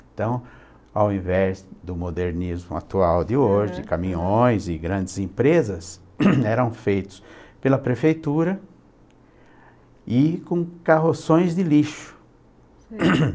Então, ao invés do modernismo atual de hoje, caminhões e grandes empresas eram feitos pela prefeitura e com carroções de lixo.